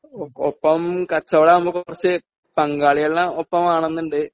ഓ ഒപ്പം കച്ചവടവാകുമ്പോ കുറച്ച് പങ്കാളികളിനെ ഒപ്പം വേണംന്നുണ്ട്